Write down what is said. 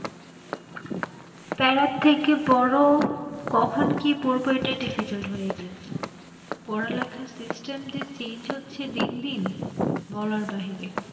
প্যারা থেকে বড় কখন কি পড়বো এটা difficult হয়ে গিয়েছে, পড়ালেখার system যে change হচ্ছে দিন দিন বলার বাহিরে।